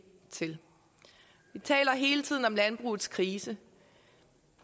til vi taler hele tiden om landbrugets krise